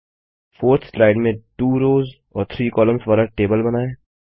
4थ slide में 2 rows और 3 columns वाला टेबल बनाएँ